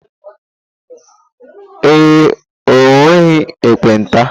Ee e, o nweghị ekpenta.